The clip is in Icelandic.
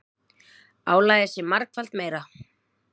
Álagið sé margfalt meira.